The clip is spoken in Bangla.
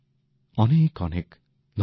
অনেক অনেক ধন্যবাদ